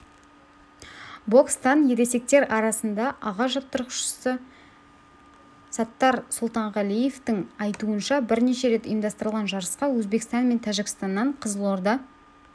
бокстан ересектер арасында аға жаттықтырушысы саттар сұлтанғалиевтің айтуынша бірінші рет ұйымдастырылған жарысқа өзбекстан мен тәжікстаннан қызылорда